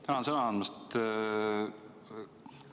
Tänan sõna andmast!